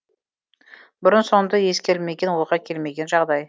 бұрын соңды ескерілмеген ойға келмеген жағдай